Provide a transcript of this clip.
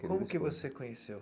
Como que você conheceu?